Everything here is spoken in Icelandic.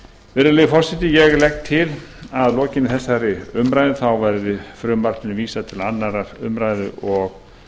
virðulegi forseti ég legg til að að lokinni þessari umræðu verði frumvarpinu vísað til annarrar umræðu og